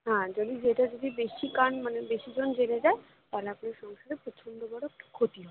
না যদি যেটা যদি বেশিকান মানে বেশিজন জেনে যায় তাহলে আপনার সংসারে প্রচন্ড বড়ো একটা ক্ষতি হবে